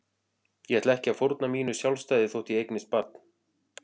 Ég ætla ekki að fórna mínu sjálfstæði þótt ég eignist barn.